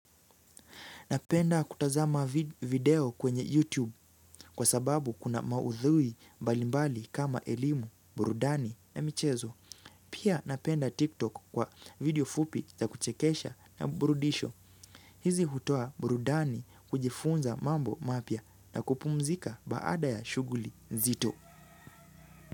Napenda kutazama video kwenye YouTube kwa sababu kuna maudhui mbalimbali kama elimu, burudani na michezo. Pia napenda TikTok kwa video fupi za kuchekesha na burudisho. Hizi hutoa burudani kujifunza mambo mapya na kupumzika baada ya shughli zito.